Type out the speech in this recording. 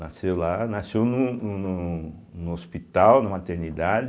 Nasceu lá, nasceu no no no no hospital, na maternidade,